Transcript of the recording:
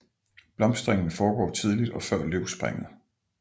Blomstringen foregår tidligt og før løvspringet